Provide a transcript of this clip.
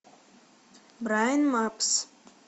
брайн мапс